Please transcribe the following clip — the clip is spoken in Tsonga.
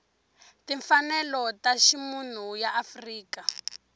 timfanelo ta ximunhu ya afrika